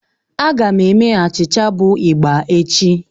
A ga m eme achịcha bụ igba echi.